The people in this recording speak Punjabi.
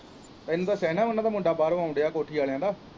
ਤੈਨੂੰ ਦੱਸਿਆ ਹੀ ਨਾ ਉਹਨਾਂ ਦਾ ਮੁੰਡਾ ਬਾਹਰੋਂ ਆਉਣ ਦਿਆ ਕੋਠੀ ਵਾਲਿਆਂ ਦਾ।